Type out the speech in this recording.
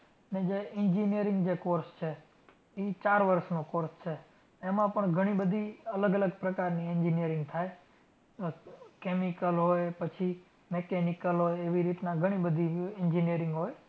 ને જે engineering જે course છે. ઈ ચાર વર્ષનો course છે. એમાં પણ ઘણી બધી અલગ અલગ પ્રકારની engineering થાય ઉહ chemical હોય પછી Mechanical હોય એવી રીતના ઘણી બધી engineering હોય.